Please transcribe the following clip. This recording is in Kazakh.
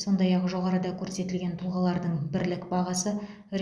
сондай ақ жоғарыда көрсетілген тұлғалардың бірлік бағасы